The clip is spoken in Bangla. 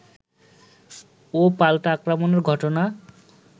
ও পাল্টা আক্রমণের ঘটনা